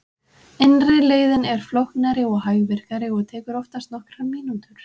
Innri leiðin er flóknari og hægvirkari og tekur oftast nokkrar mínútur.